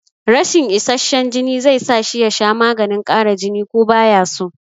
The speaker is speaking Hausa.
Rashin isasshen jini zai sa shi ya sha maganin ƙara jini ko baya so